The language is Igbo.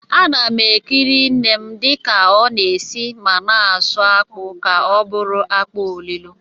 Ana m eke nnem dịka ọ na-esi ma na-asụ akpụ ka ọ bụrụ akpụ olilo.